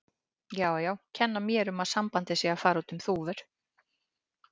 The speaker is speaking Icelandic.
Já, já, kenna mér um að sambandið sé að fara út um þúfur.